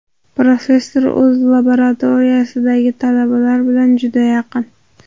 Professor o‘z laboratoriyasidagi talabalar bilan juda yaqin.